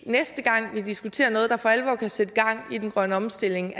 næste gang vi diskuterer noget der for alvor kan sætte gang i den grønne omstilling